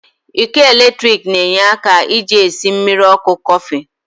Iko eletrik n'enye aka ji esi mmiri oku Kofi